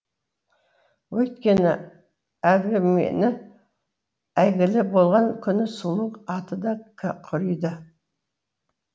өйткені әлгі мені әйгілі болған күні сұлу аты да құриды